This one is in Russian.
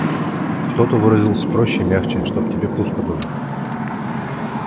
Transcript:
кто-то выразился проще и мягче чтоб тебе пусто было